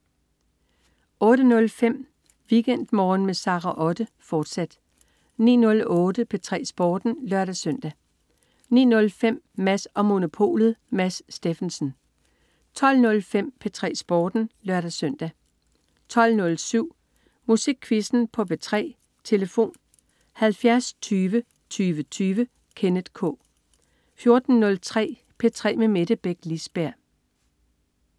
08.05 WeekendMorgen med Sara Otte, fortsat 09.03 P3 Sporten (lør-søn) 09.05 Mads & Monopolet. Mads Steffensen 12.05 P3 Sporten (lør-søn) 12.07 Musikquizzen på P3. Tlf.: 70 20 20 20. Kenneth K 14.03 P3 med Mette Beck Lisberg